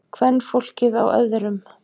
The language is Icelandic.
Kvenfólkið á öðrum.